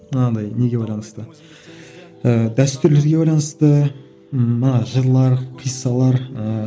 анандай неге байланысты ііі дәстүрлерге байланысты ммм мына жырлар қиссалар ыыы